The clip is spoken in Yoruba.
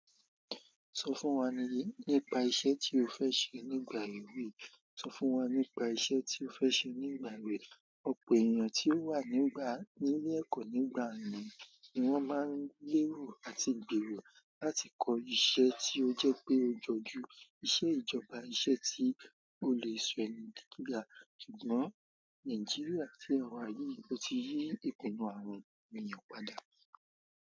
Sọ fún wa nípa iṣẹ́ tí ó fẹ́ ṣe nígbà yìí. Sọ fún wa nípa iṣẹ́ tí ó fẹ́ ṣe nígbà yìí. Ọ̀pọ̀ èèyàn tí ó wà nígbà, nílé ẹ̀kọ́ nígbà mìí wọn máa ń lérù àti gbèrò láti kọ́ iṣẹ́ tí ó jẹ́ pé ó jọjú, iṣẹ́ ìjọba, iṣẹ́ tí ó lè sọ̀rọ̀ ní gíga. Kìnìún Nàìjíríà tí ẹ wá yí, o ti rí ìpinnu àwọn ènìyàn padà.